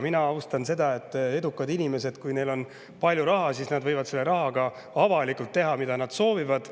Mina austan seda, et edukad inimesed, kellel on palju raha, võivad selle rahaga avalikult teha, mida nad soovivad.